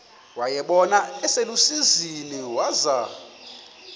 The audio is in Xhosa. wayibona iselusizini waza